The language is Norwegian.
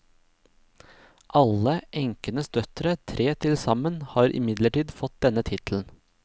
Alle enkenes døtre, tre til sammen, har imidlertid fått denne tittelen.